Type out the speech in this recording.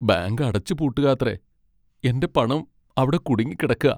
Bank അടച്ചുപൂട്ടുകാത്രേ! എന്റെ പണം അവിടെ കുടുങ്ങിക്കിടക്കാ .